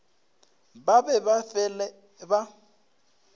ba be ba fele ba